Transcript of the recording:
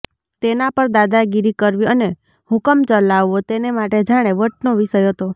તેના પર દાદાગીરી કરવી અને હુકમ ચલાવવો તેને માટે જાણે વટનો વિષય હતો